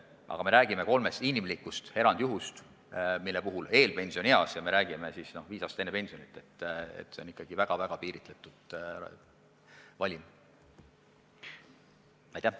Aga me räägime kolmest inimlikust erandjuhust seoses eelpensionieaga – s.o viis aastat enne pensioniiga – ning nende puhul on tegemist ikkagi väga piiritletud valimiga.